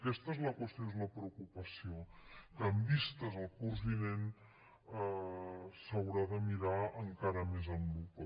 aquesta és la qüestió i és la preocupació que en vista al curs vinent s’haurà de mirar encara més amb lupa